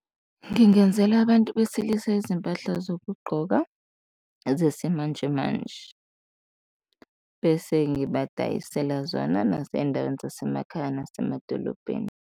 Ngingenzela abantu besilisa izimpahla zokugqoka zesimanje manje bese ngibadayisela zona nasey'ndaweni zasemakhaya nasemadolobheni.